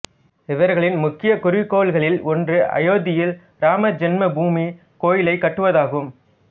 இவர்களின் முக்கியக் குறிக்கோள்களில் ஒன்று அயோத்தியில் ராம ஜென்மபூமி கோயிலைக் கட்டுவதாகும்